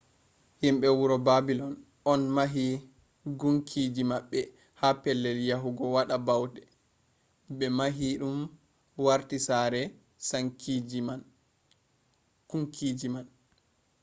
himɓe wuro babilon on mahi gunkiji maɓɓe ha pellel yahugo waɗa bauɗe ɓe mahi ɗum warti sare kunkiji man